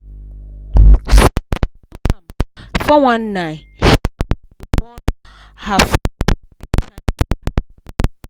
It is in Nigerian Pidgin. since dem do am 419 she don dey warn her friends make dem shine their eye